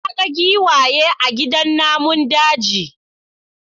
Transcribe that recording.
Na ga giwaye a gidan namun daji.